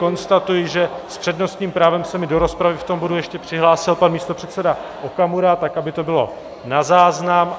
Konstatuji, že s přednostním právem se mi do rozpravy v tom bodu ještě přihlásil pan místopředseda Okamura, tak aby to bylo na záznam.